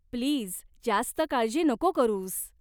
Please, जास्त काळजी नको करूस.